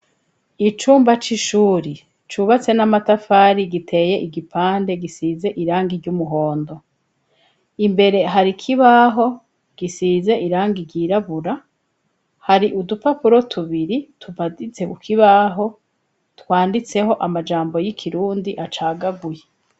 Icumba c'ishuri cubatse n'amatafari giteye igipande gisize irangi ry'umuhondo imbere hari kibaho gisize irangi ryirabura hari udupapuro tubiri tuvazize ukibaho twanditseho amajambo y'ikirundi acagaguye.